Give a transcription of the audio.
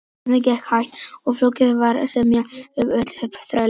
Söfnunin gekk hægt og flókið var að semja um útlausn þrælanna.